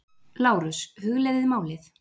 LÁRUS: Hugleiðið málið!